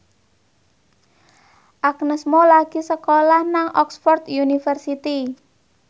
Agnes Mo lagi sekolah nang Oxford university